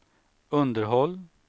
underhåll